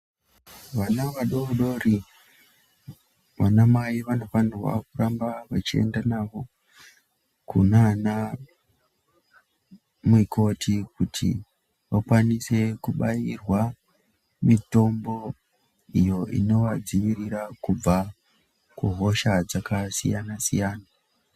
Vana vadoodori vana mai vanofanirwa kuramba vechienda navo kunana mikoti kuti vakwanise kubairwa mitombo iyo inovadziirira kubva kuhosha dzakasiyanasiyana.